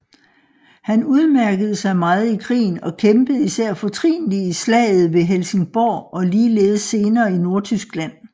Han udmærkede sig meget i krigen og kæmpede især fortrinlig i slaget ved Helsingborg og ligeledes senere i Nordtyskland